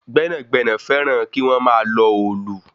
Gbẹ̀nágbẹ̀nà fẹràn kí wọ́n máa lọ òòlù.